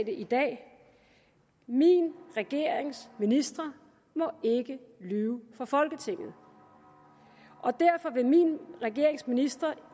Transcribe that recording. i dag min regerings ministre må ikke lyve for folketinget og derfor vil min regerings ministre